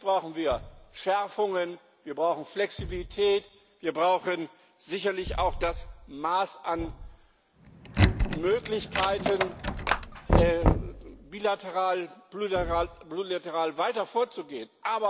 Natürlich brauchen wir Schärfungen, wir brauchen Flexibilität, wir brauchen sicherlich auch das Maß an Möglichkeiten, bilateral, plurilateral weiter vorzugehen.